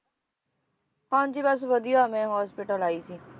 ਹਾਂਜੀ ਬਸ ਵਧੀਆ ਮੈਂ hospital ਆਈ ਸੀ